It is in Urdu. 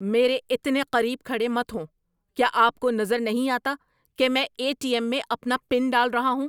میرے اتنے قریب کھڑے مت ہوں! کیا آپ کو نظر نہیں آتا کہ میں اے ٹی ایم میں اپنا پن ڈال رہا ہوں؟